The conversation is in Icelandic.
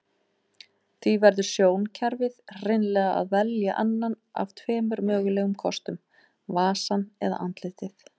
Því verður sjónkerfið hreinlega að velja annan af tveimur mögulegum kostum, vasann eða andlitin.